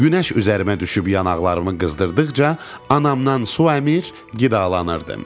Günəş üzərimə düşüb yanaqlarımı qızdırdıqca, anamdan su əmir, qidalanırdım.